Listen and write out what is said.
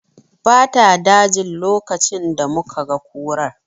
Ba ta dajin lokacin da muka ga kurar